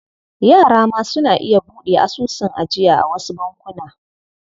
Yara ma suna iya buɗe asusun ajiya a wasu bankuna.